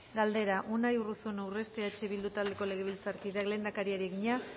galdera unai urruzuno urresti eh bildu taldeko legebiltzarkideak lehendakariari egina